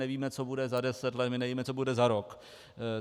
Nevíme, co bude za 10 let, my nevíme, co bude za rok.